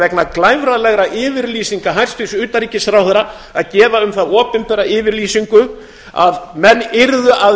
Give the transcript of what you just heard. vegna glæfralegra yfirlýsinga hæstvirts utanríkisráðherra að gefa um það opinbera yfirlýsingu að menn yrðu að